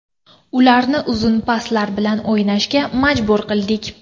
Ularni uzun paslar bilan o‘ynashga majbur qildik.